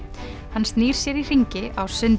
hann snýr sér í hringi á sundi